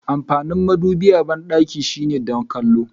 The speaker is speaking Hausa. Amfanin madubi a bandaki shine don kwallo.